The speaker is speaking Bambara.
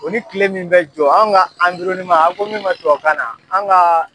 O ni kile min bɛ jɔ an ka a ko min ma tubabukanna an ka